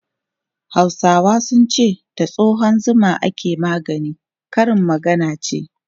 Hausawa sun ce 'da tsohon zuma ake magani', karin magana ce.